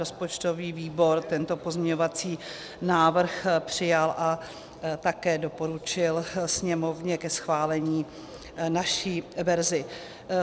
Rozpočtový výbor tento pozměňovací návrh přijal a také doporučil Sněmovně ke schválení naši verzi.